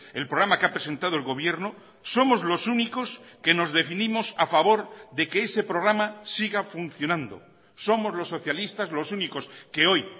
el programa que ha presentado el gobierno somos los únicos que nos definimos a favor de que ese programa siga funcionando somos los socialistas los únicos que hoy